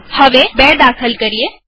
ચાલો હવે ૨ દાખલ કરીએ